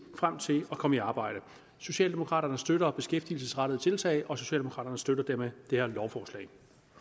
frem til at komme i arbejde socialdemokraterne støtter beskæftigelsesrettede tiltag socialdemokraterne støtter dermed det her lovforslag